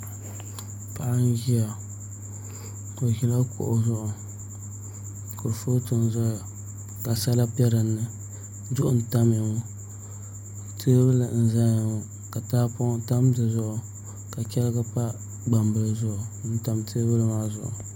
Paɣa n ʒiya o ʒila kuɣu zuɣu kurifooti n ʒɛya ka sala bɛ dinni duɣu n tamya ŋo teebuli n ʒɛya ŋo ka tahapoŋ tam dizuɣu ka chɛrigi pa gbambili zuɣu n tam teebuli maa zuɣu